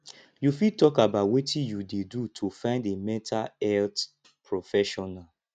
you fit talk about wetin you dey do to find a mental health professional